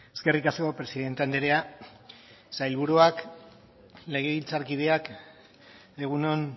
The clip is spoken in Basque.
eskerrik asko presidente andrea sailburuak legebiltzarkideak egun on